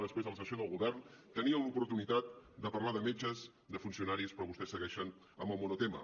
després a la sessió del govern tenien l’oportunitat de parlar de metges de funcionaris però vostès segueixen amb el monotema